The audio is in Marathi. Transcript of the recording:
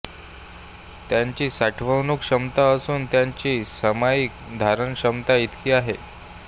त्याची साठवणूक क्षमता असून त्याची सामायिक धारण क्षमता इतकी आहे